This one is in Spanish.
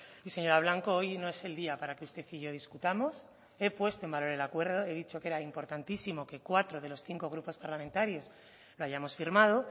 y señora blanco hoy no es el día para que usted y yo discutamos he puesto en valor el acuerdo he dicho que era importantísimo que cuatro de los cinco grupos parlamentarios lo hayamos firmado